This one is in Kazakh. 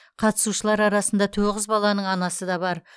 қатысушылар арасында тоғыз баланың анасы да бар